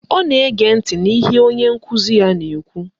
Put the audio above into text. Ọ na-ege ntị n'ihe onye nkụzi ya na-ekwu